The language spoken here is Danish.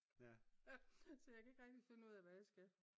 Så jeg kan ikke rigtig finde ud af hvad jeg skal